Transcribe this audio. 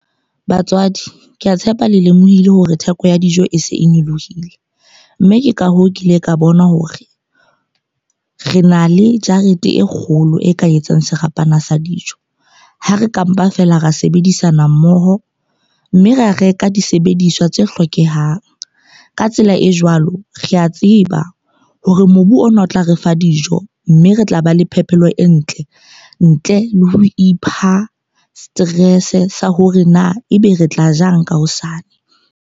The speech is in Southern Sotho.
Batswadi, ke a tshepa le lemohile hore theko ya dijo e se e nyolohile. Mme ke ka hoo, ke ile ka bona hore re na le jarete e kgolo e ka etsang serapana sa dijo. Ha re ka mpa feela ra sebedisana mmoho mme ra reka disebediswa tse hlokehang. Ka tsela e jwalo, ke a tseba hore mobu ona o tla re fa dijo. Mme re tla ba le phepelo e ntle ntle le ho ipha stress sa hore na ebe re tla jang ka hosane.